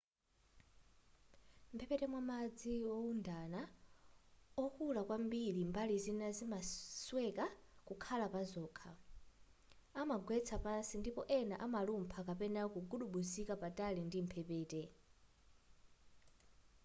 mphepete mwa madzi oundana okula kwambiri mbali zina zimasweka kukhala pazokha amagwera pansi ndipo ena amalumpha kapena kugubuduzika patali ndi mphepete